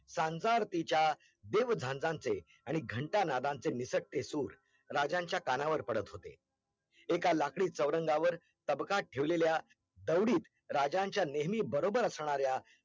सान्सर्तिचा देव झांझानचे आणि घंटा नादाचे निसकते सुर राजांच्या कानावर पडत होते एका लाकडी चवरंगावर तबकात ठेवलेल्या तावडीत राजांच्या नेहमी बरोबर असणाऱ्या